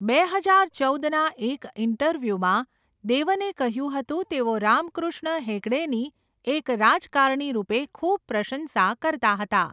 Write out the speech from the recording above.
બે હજાર ચૌદના એક ઈન્ટરવ્યુમાં, દેવને કહ્યું હતું તેઓ રામકૃષ્ણ હેગડેની એક રાજકારણી રૂપે ખૂબ પ્રશંસા કરતા હતા.